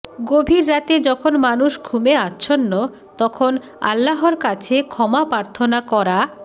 গভীর রাতে যখন মানুষ ঘুমে আচ্ছন্ন তখন আল্লাহর কাছে ক্ষমা প্রার্থনা করা